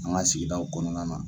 An ka sigidaw kɔnɔna na